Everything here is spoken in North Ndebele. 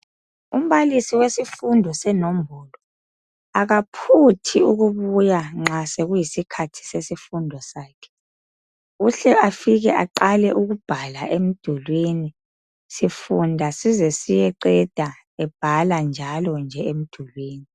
Umbalisi wesifundo senombolo akaphuthi ukubuya nxa sokuyi sikhathi sesifundo sakhe uhle efike aqale ebhale emdulwini sifunda size siyeqeda ebhala njalo emdulwini